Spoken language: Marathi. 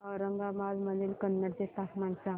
औरंगाबाद मधील कन्नड चे तापमान सांग